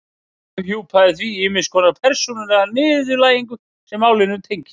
Ég afhjúpaði í því ýmiss konar persónulega niðurlægingu sem málinu tengdist.